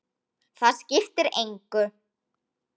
Það skiptir engu